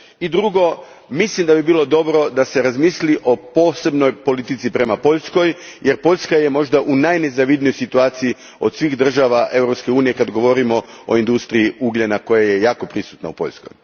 I drugo, mislim da bi bilo dobro da se razmisli o posebnoj politici prema Poljskoj jer Poljska je u najnezavidnijoj situaciji od svih država EU a kad govorimo o industriji ugljena koja je jako prisutna u Poljskoj.